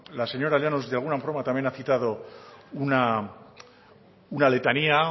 la señora llanos de alguna forma también ha citado una letanía